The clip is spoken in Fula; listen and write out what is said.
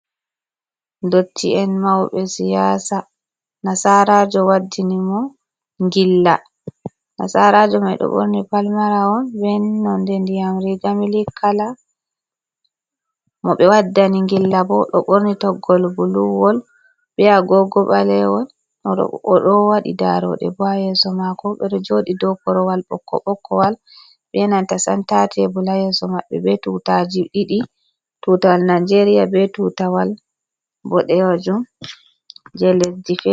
Ndotti'en mauɓe siyasa. Nasarajo waddini mo ngilla. Nasarajo mai ɗo ɓurni palmarawol be nonde ndiyam riga milik kala. Mo ɓe waddani ngilla bo ɗo ɓorni toggol buluwol be agogo ɓalewol. Oɗo wadi daroɗe bo ha yeso mako. Ɓe joɗi dou korowal ɓokko ɓokkowal be nanta senta tebul ha yeso maɓɓe. Be tutaji ɗiɗi; tutawal nigeria be tutawal boɗejum je lesdi fer...